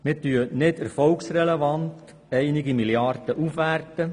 Wir werten nicht erfolgsrelevant einige Milliarden auf.